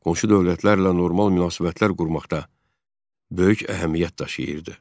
Qonşu dövlətlərlə normal münasibətlər qurmaqda böyük əhəmiyyət daşıyırdı.